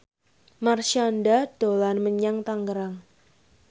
Marshanda dolan menyang Tangerang